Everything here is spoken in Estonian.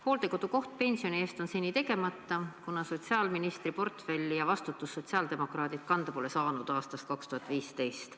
Hooldekodukoht pensioni eest on seni tegemata, kuna sotsiaalministri portfelli ja vastutust sotsiaaldemokraadid kanda pole saanud aastast 2015.